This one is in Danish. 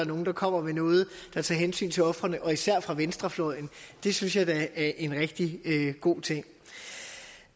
nogle der kommer med noget der tager hensyn til ofrene især fra venstrefløjen det synes jeg da er en rigtig god ting